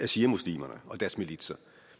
shiamuslimerne og deres militser